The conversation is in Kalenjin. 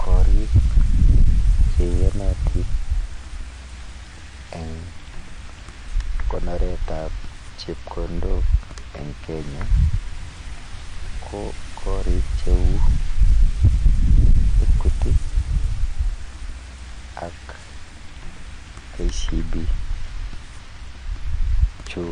Korik che iyanatin eng' konoret ap chepkondok eng' Kenya ko karik che u Equity ak KCB. Chu